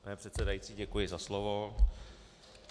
Pane předsedající, děkuji za slovo.